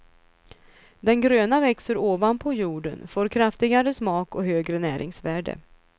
Den gröna växer ovanpå jorden, får kraftigare smak och högre näringsvärde.